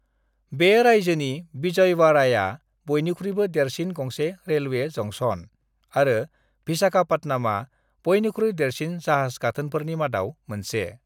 बे रायजोनि विजयवाड़ाया बयनिख्रुइ देरसिन गंसे रेलवे जंक्शन आरो विशाखापत्तनमआ बयनिख्रुइ देरसिन जाहाज गाथोनफोरनि मादाव मोनसे।